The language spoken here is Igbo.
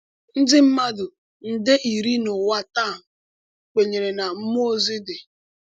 Ndị mmadụ nde iri n’ụwa taa kwenyere na mmụọ ozi dị.